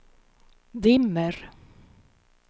dimmer